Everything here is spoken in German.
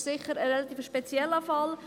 Das ist sicher ein relativ spezieller Fall.